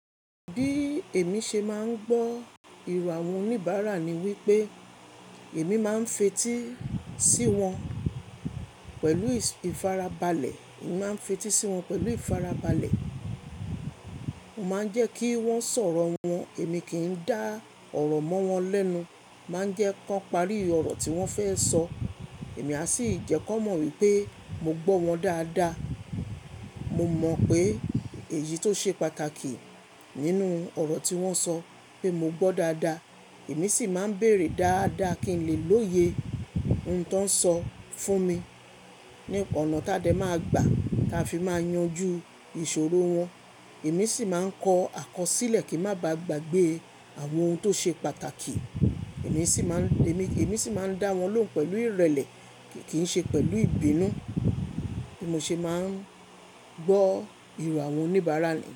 Bí èmi ṣe máa ń gbọ́ ìrò àwọn oníbàárà ni wípé èmi máa ń fetí sí wọn pẹ̀lú ìfarabalẹ̀. Èmi máa ń fetí sí wọn pẹ̀lú ìfarabalẹ̀. Mo máa ń jẹ́ kí wón sọ̀rọ̀ wọn, èmi kì í dá ọ̀rọ̀ mọ́ wọn lẹ́nu. Máa ń jẹ́ kí wọ́n parí ọ̀rọ̀ tí wọ́n fẹ́ sọ. Èmi a sì jẹ́ kó mọ̀ wípé mo gbọ́ wọn dáadáa. Mo mọ̀ pé èyí tó ṣe pàtàkì nínú ọ̀rọ̀ tí wón ń sọ pé mo gbọ́ dáadáa. Èmi sì máa ń béèrè dáadáa kí n lè lóye ohun tó ń sọ fún mi. Ni ọ̀nà tádẹ máa gbà tá fi máa yanjú ìṣòro wọn. Èmi sì máa ń kọ àkọsílẹ̀ kí n má bàá gbàgbé àwọn ohun tó ṣe pàtàkì. Èmi sì máa ń, èmi, èmi sì máa ń dá wọn lóhùn pẹ̀lú ìrẹ̀lẹ̀ kì í ṣe pẹ̀lú ìbínú. Bí mo ṣe máa ń gbọ́ ìrò àwọn oníbàárà ni.